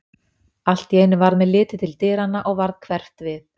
Allt í einu varð mér litið til dyranna og varð hverft við.